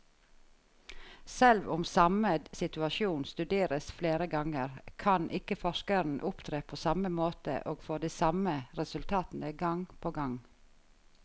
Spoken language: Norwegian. Selv om samme situasjon studeres flere ganger, kan ikke forskeren opptre på samme måte og få de samme resultatene gang på gang.